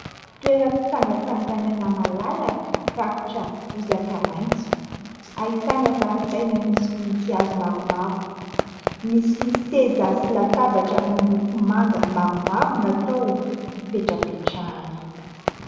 Toeram-pitsangatsanganana malalaka rakotra bozaka maitso. Ahitana zaridaina misy voninkazo maromaro, misy seza sy latabatra amin'ny loko manga maromaro natao hipetrapetrahana.